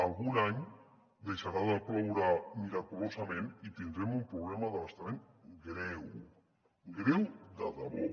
algun any deixarà de ploure miraculosament i tindrem un problema d’abastament greu greu de debò